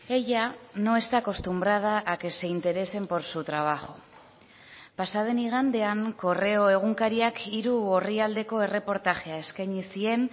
ella no está acostumbrada a que se interesen por su trabajo pasa den igandean correo egunkariak hiru orrialdeko erreportajea eskaini zien